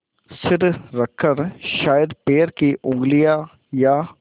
सिर रखकर शायद पैर की उँगलियाँ या